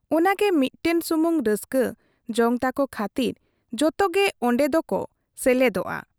ᱚᱱᱟᱜᱮ ᱢᱤᱫᱴᱟᱝ ᱥᱩᱢᱤᱩᱝ ᱨᱟᱹᱥᱠᱟ, ᱡᱚᱝ ᱛᱟᱠ ᱠᱷᱟᱹᱛᱤᱨ ᱡᱚᱛᱚᱜᱮ ᱚᱱᱰᱮ ᱫᱚ ᱠᱚ ᱥᱮᱞᱮᱫᱚᱜᱼᱟ ᱾